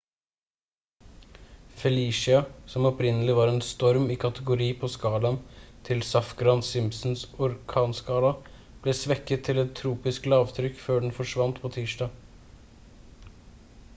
felicia som opprinnelig var en storm i kategori på skalaen til safgran-simpsons orkanskala ble svekket til et tropisk lavtrykk før den forsvant på tirsdag